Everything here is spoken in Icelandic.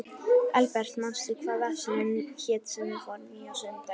Elbert, manstu hvað verslunin hét sem við fórum í á sunnudaginn?